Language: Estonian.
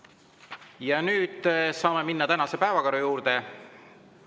Ja nüüd saame minna tänase päevakorra juurde.